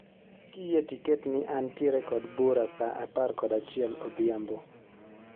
Kiyie to iket ni antiere kod bura saa apar kod achiel odhiambo